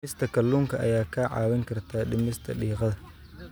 Cunista kalluunka ayaa kaa caawin karta dhimista diiqada.